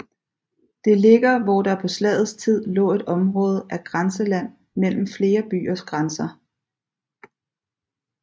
Det ligger hvor der på slagets tid lå et område af grænseland mellem flere byers grænser